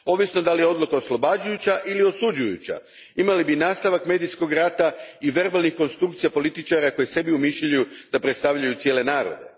Ovisno je li odluka oslobađajuća ili osuđujuća, imali bismo nastavak medijskog rata i verbalnih konstrukcija političara koji sebi umišljaju da predstavljaju cijele narode.